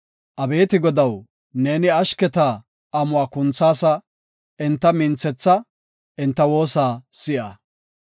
Abeeti Godaw, neeni ashketa amuwa kunthaasa; enta minthetha; enta woosa si7a.